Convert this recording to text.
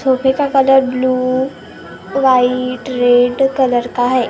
सोफे का colour blue white red colour का है।